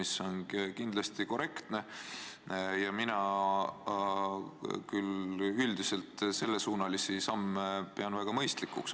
See on kindlasti korrektne ja mina küll üldiselt pean sellesuunalisi samme väga mõistlikuks.